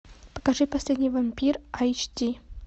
покажи последний вампир айч ди